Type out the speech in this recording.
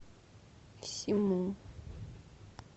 симу